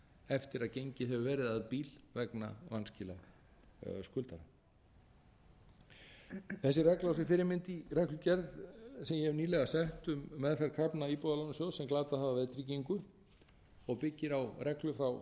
eftir að gengið hefur verið að bíl vegna vanskila skuldara þessi regla á sér fyrirmynd í reglugerð sem ég hef nýlega sett um meðferð krafna íbúðalánasjóðs sem glatað hafa veðtryggingu og byggir á reglu frá tvö